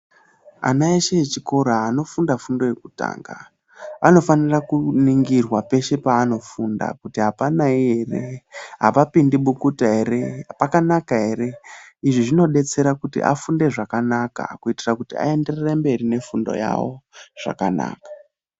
Ana eshe echikora anofunda fundo yekutanga anofanira kuningirwa peshe paanofunda kuti apanayi ere apapindi bukuta ere pakanaka ere izvi zvinodetsera kuti afunde zvakanaka kuitira kuti aenderere mberi nefundo yavo zvakanaka.